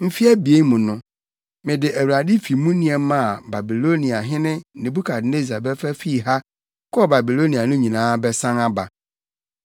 Mfe abien mu no, mede Awurade fi mu nneɛma a Babiloniahene Nebukadnessar bɛfa fii ha kɔɔ Babilonia no nyinaa bɛsan aba.